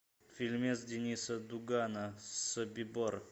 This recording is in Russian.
фильмец денниса дугана собибор